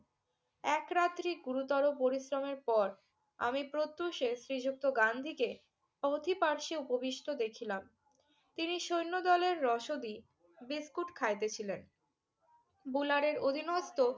এক রাত্রি গুরুতর পরিশ্রমের পর আমি প্রত্যুষে শ্রীযুক্ত গান্ধীকে অথিপার্শে উপবিষ্ট দেখিলাম। তিনি সৈন্যদলের রসদি বিস্কুট খাইতেছিলেন। বুলারের অধীনস্ত